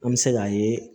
An bɛ se k'a ye